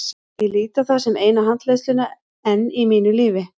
Ég lít á það sem eina handleiðsluna enn í mínu lífi.